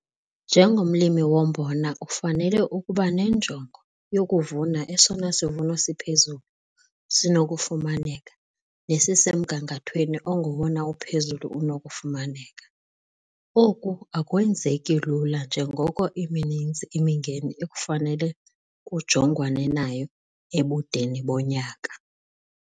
Njengomlimi wombona kufanele ukuba nenjongo yokuvuna esona sivuno siphezulu sinokufumaneka nesisemgangathweni ongowona uphezulu unokufumaneka. Oku akwenzeki lula njengoko imininzi imingeni ekufanele kujongwane nayo ebudeni bonyaka.